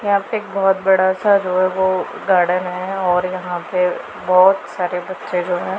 यहां पे एक बहोत बड़ा सा जो है वो गार्डन है और यहां पे बहोत सारे बच्चे जो है--